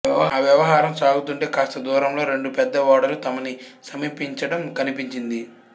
ఆ వ్యవహారం సాగుతుంటే కాస్త దూరంలో రెండు పెద్ద ఓడలు తమని సమీపించడం కనిపించింది